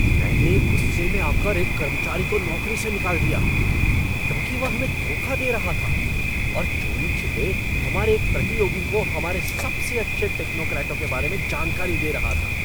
मैंने गुस्से में आकर एक कर्मचारी को नौकरी से निकाल दिया, क्योंकि वह हमें धोखा दे रहा था और चोरी छिपे हमारे एक प्रतियोगी को हमारे सबसे अच्छे टेक्नोक्रेटों के बारे में जानकारी दे रहा था।